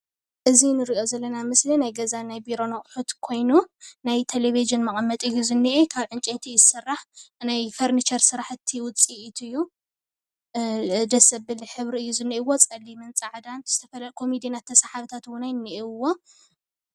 እዚ እንሪኦ ዘለና ምስሊ ናይ ገዛን ናይ ቢሮን ኣቑሑት ኮይኑ ናይ ቴሌቭዥን መቐመጢ እዩ ዝንኤ ካብ ዕንጨይቲ እዩ ዝስራሕ ናይ ፈርንቸር ስራሕቲ ዉፅኢት እዩ። ደስ ዘብል ሕብሪ እዩ ዝንኤዎ ፀሊምን ፃዕዳን ዝተፈለየ ኮመዲኖታት ተሰሓብታት እዉን እንኤዉዎ።